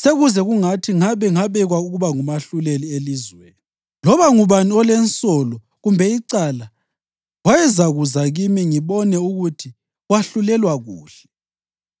“Sekuze kungathi ngabe ngabekwa ukuba ngumahluleli elizweni! Loba ngubani olensolo kumbe icala wayezakuza kimi ngibone ukuthi wahlulelwa kuhle.”